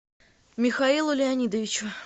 михаилу леонидовичу